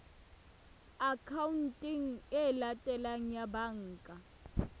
akhaonteng e latelang ya banka